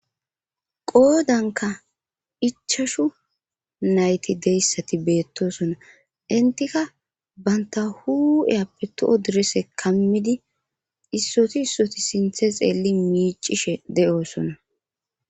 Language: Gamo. qoodanka ichashu nayti deyssati beettosona intika banta hu7eyappe to7o direse kammidi issoti issoti sinthe xeelli miicishe de7oosona